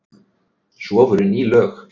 Svo voru ný lög.